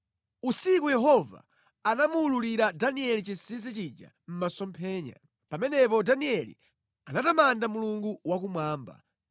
Usiku Yehova anamuwululira Danieli chinsinsi chija mʼmasomphenya. Pamenepo Danieli anatamanda Mulungu wakumwamba,